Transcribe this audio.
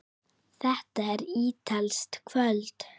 Þetta var ítalskt kvöld.